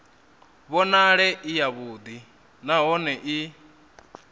vhonale i yavhuḓi nahone i